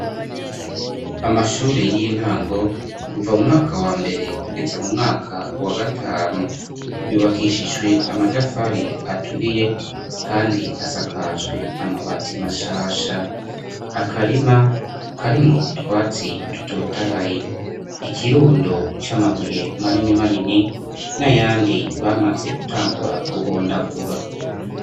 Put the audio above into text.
Amashure y'intango kuva umwaka wa mbere kugeza mu mwaka wa gatanu yubakishijwe amatafari aturiye kandi asakajwe amabati mashasha akarima karimu utwatsi dutotahaye ikirundo c'amabuye manini manini n'ayandi bamaze gutangura guhondagura.